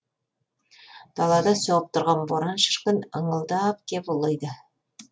далада соғып тұрған боран шіркін ыңылдап кеп ұлиды